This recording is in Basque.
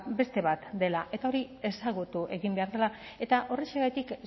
beste bat dela eta hori ezagutu egin behar dela eta horrexegatik